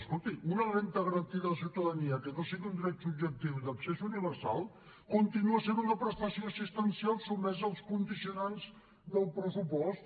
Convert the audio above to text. escolti una renda garantida de ciutadania que no sigui un dret subjectiu i d’accés universal continua sent una prestació assistencial sotmesa als condicionants del pressupost